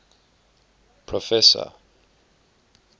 professor